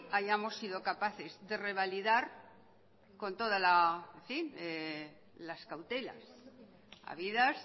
hayamos sido capaces de revalidar con toda las cautelas habidas